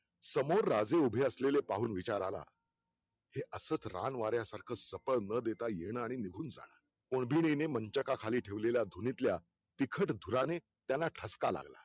समोर राजे उभे असलेले पाहून विचार आला ते असंच रान वाऱ्या सारखं सफळ न देता येनारी निघून जाणं मोदीरीने मंचका खाली ठेवलेल्या धुनीतल्या तिखट धुराने त्यांना ठसका लागला